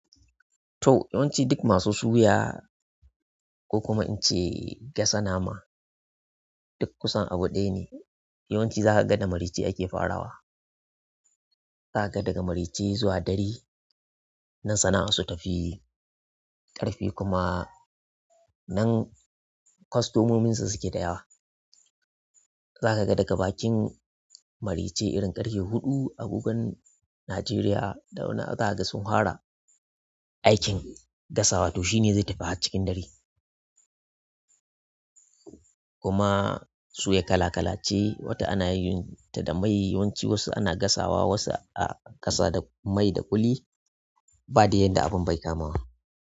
To, yawanci duk masu suya ko kuma in ce gasa nama duk kusan abu ɗaya ne. Yawanci za ka ga da maraice ake farawa. Za ka ga daga maraice zuwa ɗari, nan sana'ar su ta fi ƙarfi kuma nan. Kwastomomin su suke da yawa. Zaka ga daga bakin maraice irin ƙarfe huɗu agogon Najeriya da wani zaka ga sun hwara aikin gasawa to shine zai tafi har cikin dare. Kuma suya ƙala ƙalace, wata anayinta da mai, yawanci wasu ana gasawa, wasu da mai da ƙuli badai yadda abun baya kamawa.